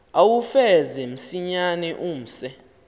uwufeze msinyane umse